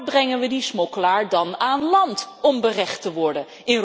Waar brengen we die smokkelaar dan aan land om berecht te worden?